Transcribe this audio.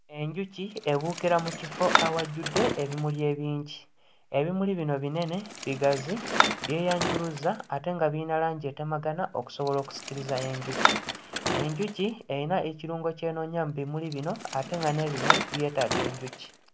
Enkuki ebuukira mu kifo awajjudde ebimuli ebingi. Ebimuli bino binene, bigazi, byeyanjuluzza ate nga biyina langi etemagana okusobola okusikiriza enjuki. Enjuki eyina ekirungo ky'enoonya mu bimuli bino ate nga n'ebimuli byetaaga enjuki.